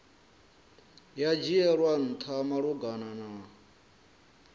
ya dzhielwa ntha malugana na